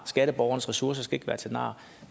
skatteborgernes ressourcer skal være til nar